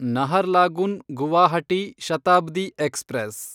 Naharlagun Guwahati Shatabdi express